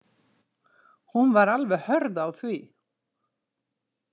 Hún var alveg hörð á því.